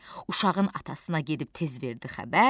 Uşağın atasına gedib tez verdi xəbər.